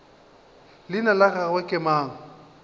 leina la gagwe ke mang